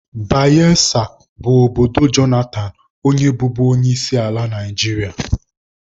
Bayesa bụ obodo Jonathan onye bụbu onyeisiala Naijiria.